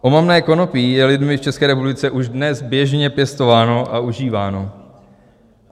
Omamné konopí je lidmi v České republice už dnes běžně pěstováno a užíváno.